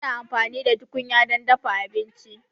Muna amfani da tukunya don dafa abinci.